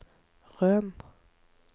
Røn